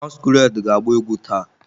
Masquerade ga-agba egwu taa?